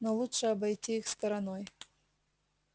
но лучше обойти их стороной